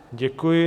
Děkuji.